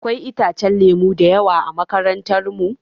Akwai itacen lemu da yawa a makarantar mu.